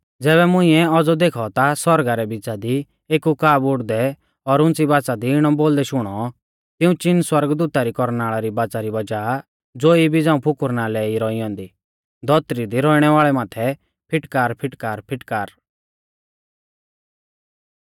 ज़ैबै मुंइऐ औज़ौ देखौ ता सौरगा रै बिच़ा दी एक उकाब उड़दै और उंच़ी बाच़ा दी इणौ बोलदै शुणौ तिऊं चीन सौरगदूता री कौरनाल़ा री बाच़ा री वज़ाह ज़ो इबी झ़ांऊ फुकुरना लै ई रौई ऐन्दी धौतरी दी रौइणै वाल़ै माथै फिटकार फिटकार फिटकार